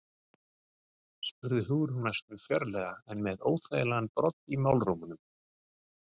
spurði Hugrún næstum fjörlega en með óþægilegan brodd í málrómnum.